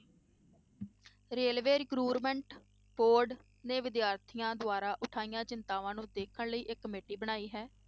Railway recruitment board ਨੇ ਵਿਦਿਆਰਥੀਆਂ ਦੁਆਰਾ ਉਠਾਈਆਂ ਚਿੰਤਾਵਾਂ ਨੂੰ ਦੇਖਣ ਲਈ ਇਹ committee ਬਣਾਈ ਹੈ।